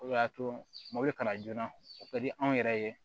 O de y'a to mobili kalan joona o ka di anw yɛrɛ ye